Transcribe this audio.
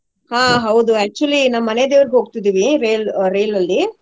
ಹಾ ಹೌದು actually ನಮ್ ಮನೆದೇವ್ರಿಗ್ ಹೋಗ್ತಿದಿವಿ ರೈಲ್~ ರೈಲಲ್ಲಿ.